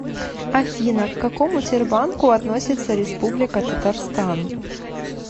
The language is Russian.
афина к какому тербанку относится республика татарстан